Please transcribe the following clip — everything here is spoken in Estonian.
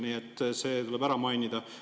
Nii et see tuleb ära mainida.